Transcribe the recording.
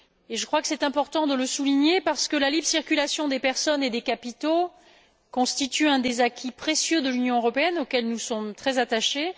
Je crois qu'il est important de le souligner, parce que la libre circulation des personnes et des capitaux constitue l'un des acquis précieux de l'Union européenne auxquels nous sommes très attachés.